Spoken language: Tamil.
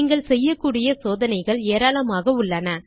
நீங்கள் செய்யக்கூடிய சோதனைகள் ஏராளமாக உள்ளன